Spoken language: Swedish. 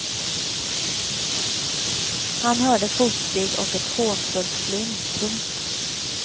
Han hörde fotsteg och ett hånfullt flin. punkt